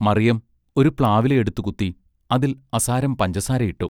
മറിയം ഒരു പ്ലാവില എടുത്തു കുത്തി അതിൽ അസാരം പഞ്ചസാരയിട്ടു.